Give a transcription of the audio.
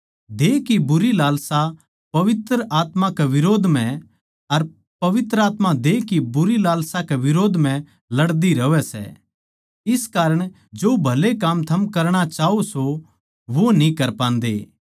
देह की बुरी लालसा पवित्र आत्मा के बिरोध म्ह अर पवित्र आत्मा देह की बुरी लालसा के बिरोध म्ह लड़दी रहवै सै इस कारण जो भले काम थम करणा चाह्वो सों वो न्ही कर पान्दे